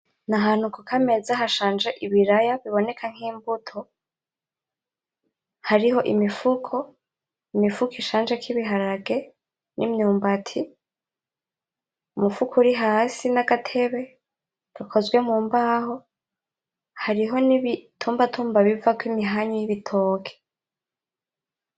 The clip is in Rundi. N'ahantu kukameza hashanje ibiraya biboneka nk'imbuto hariho imifuko, imifuko ishanjeko ibiharage; n'imyumbati ,umufuko urihasi n'agatebe gakozwe mumbaho hariho n'ibitumbatumba bivako imihanyu y'ibitoke.